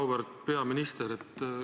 Auväärt peaminister!